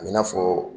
A bɛ n'a fɔ